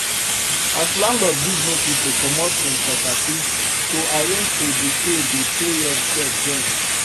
as landlord give notice to comot hin property to arrange to dey pay dey pay rent sef join